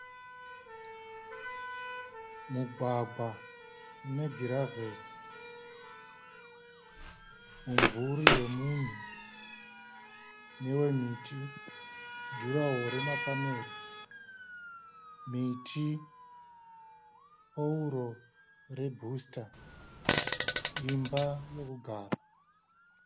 Mugwagwa une giraveri, mumvuri wemunhu newe miti, juraho remapanera, miti, pauro rebooster, imba yekugara.